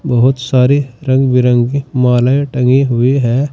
बहुत सारे रंग बिरंगे माले टंगी हुई है।